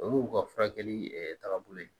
O y'u ka furakɛli ɛɛ taagabolo ye